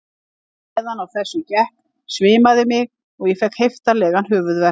Á meðan á þessu gekk svimaði mig og ég fékk heiftarlegan höfuðverk.